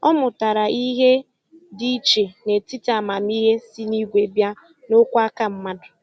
Ọ mụtara ihe dị iche n'etiti amamihe si n'igwe bịa na okwu aka mmadụ.